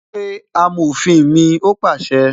"Pé amòfin mi "ó pàṣẹ